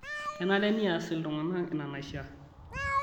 Kenare neas iltung'ana ina naishaa